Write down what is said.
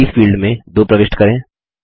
copies field में 2 प्रविष्ट करें